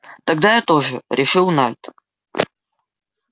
тогда я тоже решил найд